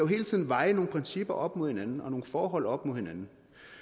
hele tiden veje nogle principper op mod hinanden og nogle forhold op mod hinanden